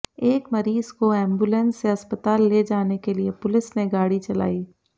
एक मरीज को एंबुलेंस से अस्पताल ले जाने के लिए पुलिस ने गाड़ी चलाई